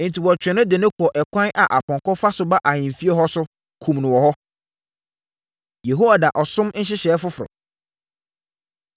Enti, wɔtwee no de no kɔɔ ɛkwan a apɔnkɔ fa so ba ahemfie hɔ so, kumm no hɔ. Yehoida Ɔsom Nhyehyɛeɛ Foforɔ